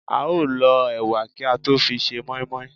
á o l ọ ewà kí à tọ fí sẹ moimoi